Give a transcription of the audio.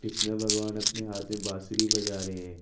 कृष्ण भगवान अपने हाथ में बांसुरी बजा रहे--